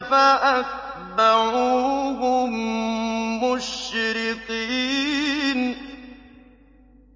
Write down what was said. فَأَتْبَعُوهُم مُّشْرِقِينَ